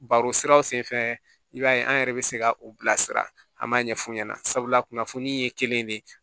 Baro siraw sen fɛ i b'a ye an yɛrɛ bɛ se ka u bila sira an b'a ɲɛf'u ɲɛna sabula kunnafoni ye kelen de ye